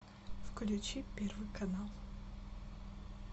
включи первый канал